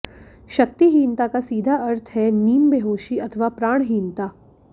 शक्तिहीनता का सीधा अर्थ है नीमबेहोशी अथवा प्राणहीनता